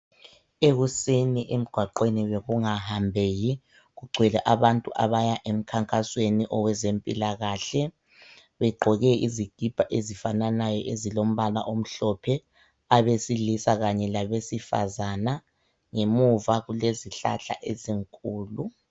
Ekuseni emgwaqweni bekungahambeki kugcwele abantu abaya emkhankasweni owezempilakahle. Begqoke isikipa ezifananayo abesilisa labesifazane. Emuva kulezihlahla ezinkulu.